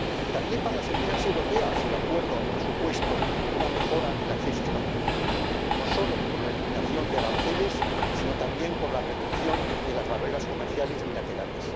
También para las empresas europeas, el Acuerdo ha supuesto una mejora en el acceso a estos mercados, no solo por la eliminación de aranceles, sino también por la reducción de las barreras comerciales bilaterales.